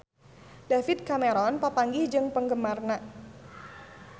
David Cameron papanggih jeung penggemarna